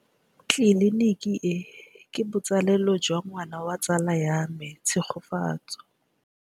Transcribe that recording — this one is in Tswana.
Tleliniki e, ke botsalêlô jwa ngwana wa tsala ya me Tshegofatso.